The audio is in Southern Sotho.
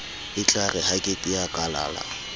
etlare ha ke tea kalala